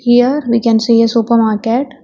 Here we can see a supermarket.